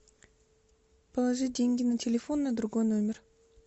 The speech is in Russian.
положи деньги на телефон на другой номер